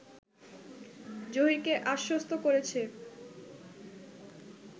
জহীরকে আশ্বস্ত করেছে